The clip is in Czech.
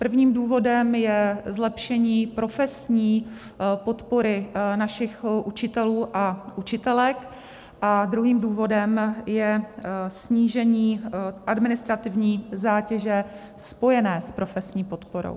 Prvním důvodem je zlepšení profesní podpory našich učitelů a učitelek a druhým důvodem je snížení administrativní zátěže spojené s profesní podporou.